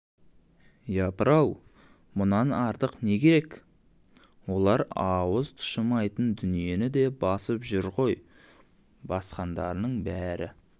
япыр-ау мұнан артық не кере олар ауыз тұшымайтын дүниені де басып жүр ғой басқандарының бәрі